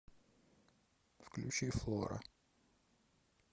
включи флора